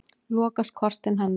Lokast kortin hennar.